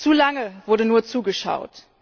Zu lange wurde nur zugeschaut.